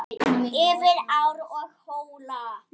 Yfir ár og hóla.